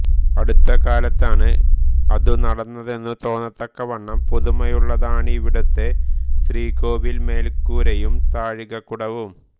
അടുത്തക്കാലത്താണ് അതു നടന്നതെന്നു തോന്നത്തക്കവണ്ണം പുതുമയുള്ളതാണിവിടുത്തെ ശ്രീകോവിൽ മേൽക്കൂരയും താഴികകുടവും